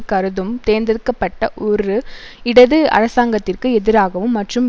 கருதும் தேர்ந்தெடுக்க பட்ட ஒரு இடது அரசாங்கத்திற்கு எதிராகவும் மற்றும்